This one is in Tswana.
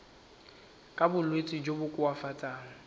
ka bolwetsi jo bo koafatsang